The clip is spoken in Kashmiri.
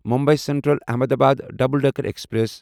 Mumbai central Ahmedabad double decker express